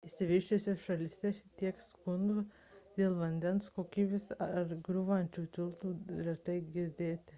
išsivysčiusiose šalyse tiek skundų dėl vandens kokybės ar griūvančių tiltų girdite retai